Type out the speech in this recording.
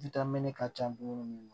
ka can dumuni na